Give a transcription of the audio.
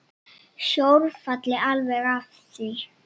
Sjór falli alveg að því.